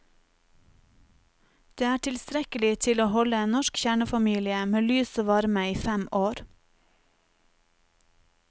Det er tilstrekkelig til å holde en norsk kjernefamilie med lys og varme i fem år.